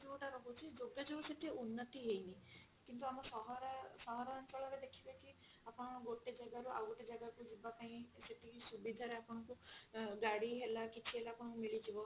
ଯଉଟା ରହୁଛି ଯୋଗାଯୋଗ ସେଠି ଉନ୍ନତି ହେଇନି କିନ୍ତୁ ଆମ ସହର ସହରାଞ୍ଚଳ ରେ ଦେଖିବେ କି ଆପଣ ଗୋଟେ ଜାଗା ରୁ ଆଉ ଗୋଟେ ଜାଗା କୁ ଯିବା ପାଇଁ ଯେତିକି ସୁବିଧା ରେ ଆପଣଙ୍କୁ ଅ ଗାଡି ହେଲା କିଛି ହେଲା ଆପଣଙ୍କୁ ମିଳିଯିବ